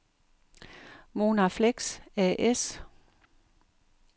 Monarflex A/S